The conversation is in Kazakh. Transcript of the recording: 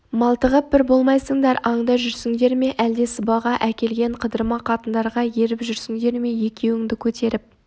малтығып бір болмайсыңдар аңда жүрсіңдер ме әлде сыбаға әкелген қыдырма қатындарға еріп жүрсіңдер ме екеуіңді көтеріп